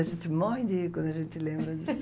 A gente morre de rir quando a gente se lembra disso.